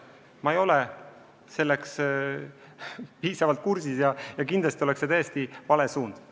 Ma ei ole sellega piisavalt kursis ja kindlasti oleks see täiesti vale suund.